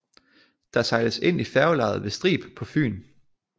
Der sejles ind i færgelejet ved Strib på Fyn